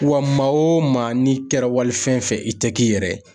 Wa maa o maa n'i kɛra walifɛn fɛ i tɛ k'i yɛrɛ ye.